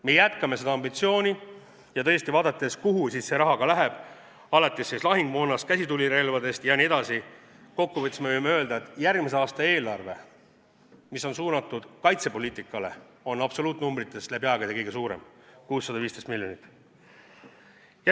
Me jätkame seda ambitsiooni ja tõesti, vaadates, kuhu see raha läheb, alates siis lahingumoonast, käsitulirelvadest jne, siis kokku võttes võime öelda, et järgmise aasta kaitsepoliitika eelarve on absoluutnumbrites läbi aegade kõige suurem – 615 miljonit.